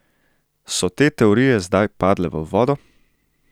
So te teorije zdaj padle v vodo?